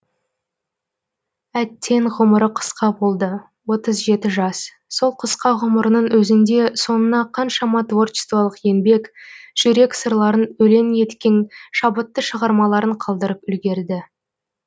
әттең ғұмыры қысқа болды отыз жеті жас сол қысқа ғұмырының өзінде соңына қаншама творчествалық еңбек жүрек сырларын өлең еткен шабытты шығармаларын қалдырып үлгерді